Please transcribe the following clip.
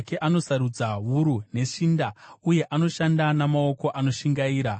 Anosarudza wuru neshinda uye anoshanda namaoko anoshingaira.